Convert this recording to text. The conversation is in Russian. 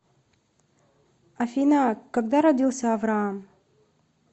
афина когда родился авраам